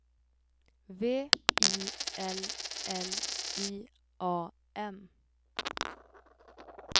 V I L L I A M